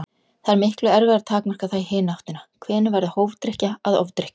Það er miklu erfiðara að takmarka það í hina áttina: Hvenær verður hófdrykkja að ofdrykkju?